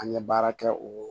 An ye baara kɛ o